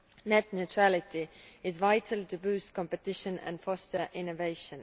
net neutrality are vital to boost competition and foster innovation.